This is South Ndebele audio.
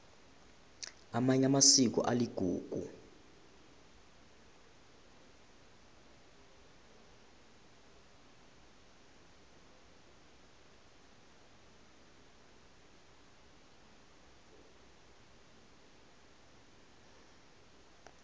amanye amasiko aligugu